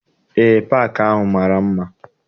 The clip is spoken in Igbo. Eé, paakị ahụ mara mma.